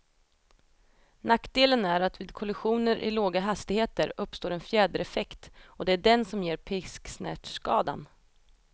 Nackdelen är att vid kollisioner i låga hastigheter uppstår en fjädereffekt, och det är den som ger pisksnärtskadan.